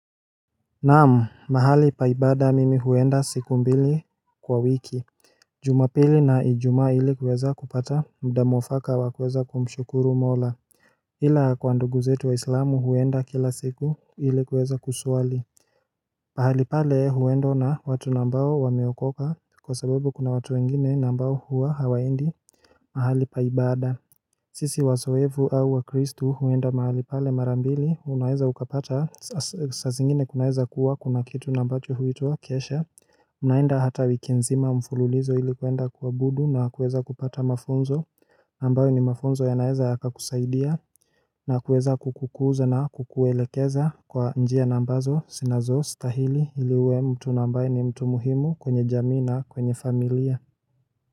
Naam mahali pa ibada mimi huenda siku mbili kwa wiki Juma pili na ijumaa ili kuweza kupata mda mwafaka wa kuweza kumshukuru mola Ila kwa ndugu zetu wahislamu huenda kila siku ili kuweza kusuali mahali pale huendwa na watu na ambao wameokoka kwa sababu kuna watu wengine na ambao huwa hawaendi mahali pa ibada sisi wazoevu au wa kristu huenda mahali pale marambili unaeza ukapata saa zingine kunaeza kuwa kuna kitu na ambacho huituwa kesha Unaenda hata wiki nzima mfululizo ili kuenda kuabudu na kuweza kupata mafunzo na ambayo ni mafunzo yanaweza yakakusaidia na kuweza kukukuza na kukuelekeza kwa njia na ambazo sinazostahili ili uwe mtu na ambaye ni mtu muhimu kwenye jamii na kwenye familia.